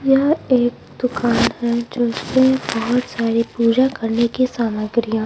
यह एक दुकान है जहा से बहुत सारी पूजा करने की सामग्रियां--